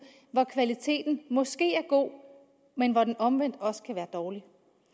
hvor kvaliteten måske er god men hvor den omvendt også kan være dårlig